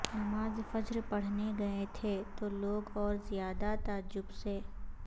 نماز فجر پڑھنے گئے تھے تو لوگ اور ذیادہ تعجب سے